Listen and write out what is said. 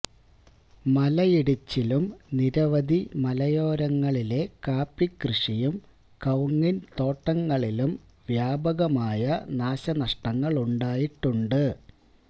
മലയിടിച്ചിലും നിരവധി മലയോരങ്ങളിലെ കാപ്പി കൃഷിയും കവുങ്ങിൻ തോട്ടങ്ങളിലും വ്യാപകമായ നാശനഷ്ടങ്ങളുണ്ടായിട്ടുണ്ട്